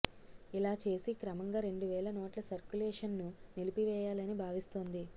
ఇలా చేసి క్రమంగా రెండు వేల నోట్ల సర్కులేషన్ను నిలిపివేయాలని భావిస్తోంది